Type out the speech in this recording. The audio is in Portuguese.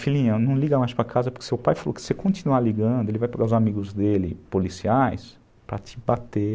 Filhinho, não liga mais para casa, porque seu pai falou que se você continuar ligando, ele vai pegar os amigos dele, policiais, para te bater.